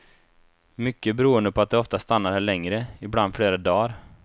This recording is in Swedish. Mycket beroende på att de ofta stannade här längre, ibland flera dagar.